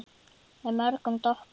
Með mörgum doppum.